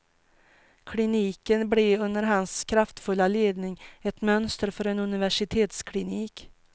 Kliniken blev under hans kraftfulla ledning ett mönster för en universitetsklinik.